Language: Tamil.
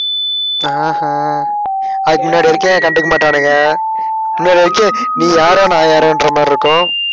அஹ் ஹம் அதுக்கு முன்னாடி வரைக்கும் கண்டுக்க மாட்டானுங்க நீ யாரோ நான் யாரோ என்ற மாதிரியிருக்கும்